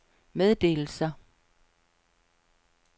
meddelelser